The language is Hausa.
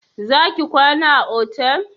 Za ki kwana a otal?